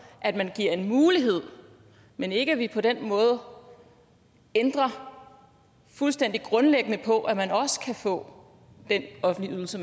at man giver en mulighed men ikke at vi på den måde ændrer ændrer fuldstændig grundlæggende på at man også kan få den offentlige ydelse